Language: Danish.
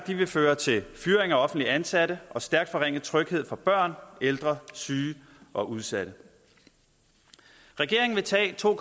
nemlig føre til fyringer af offentligt ansatte og stærkt forringet tryghed for børn ældre syge og udsatte regeringen vil tage to